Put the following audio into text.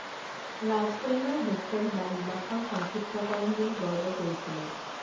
ৰাজকন্যাৰ hostel বা নিবাসৰ সংক্ষিপ্তকৰণ বুলি গৰ্ব কৰিছিলো